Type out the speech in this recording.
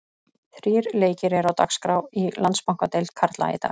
Þrír leikir eru á dagskrá í Landsbankadeild karla í dag.